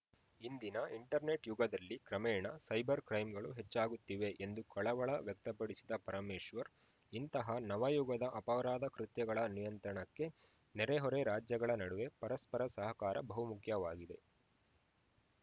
ಇಂದಿನ ಇಂಟರ್‌ನೆಟ್‌ ಯುಗದಲ್ಲಿ ಕ್ರಮೇಣ ಸೈಬರ್‌ ಕ್ರೈಂಗಳು ಹೆಚ್ಚಾಗುತ್ತಿವೆ ಎಂದು ಕಳವಳ ವ್ಯಕ್ತಪಡಿಸಿದ ಪರಮೇಶ್ವರ್‌ ಇಂತಹ ನವಯುಗದ ಅಪರಾಧ ಕೃತ್ಯಗಳ ನಿಯಂತ್ರಣಕ್ಕೆ ನೆರೆಹೊರೆ ರಾಜ್ಯಗಳ ನಡುವೆ ಪರಸ್ಪರ ಸಹಕಾರ ಬಹುಮುಖ್ಯವಾಗಿದೆ